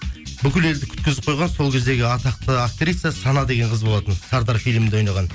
бүкіл елді күткізіп қойған сол кездегі атақты актриса сана деген қыз болатын сардар филімінде ойнаған